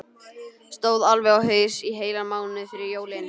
Stóð alveg á haus í heilan mánuð fyrir jólin.